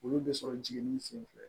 Olu bɛ sɔrɔ jiginni senfɛ